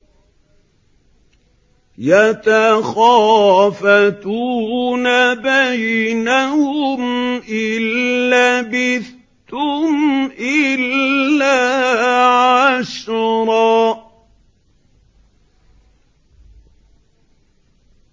يَتَخَافَتُونَ بَيْنَهُمْ إِن لَّبِثْتُمْ إِلَّا عَشْرًا